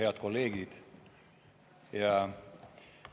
Head kolleegid!